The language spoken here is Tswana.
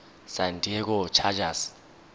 san diego chargers